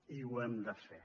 i ho hem de fer